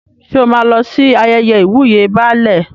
Ṣé o máa lọ sí ayẹyẹ ìwúyè Baálẹ̀?